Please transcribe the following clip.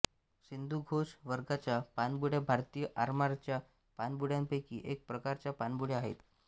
सिंधुघोष वर्गाच्या पाणबुड्या भारतीय आरमाराच्या पाणबुड्यांपैकी एक प्रकारच्या पाणबुड्या आहेत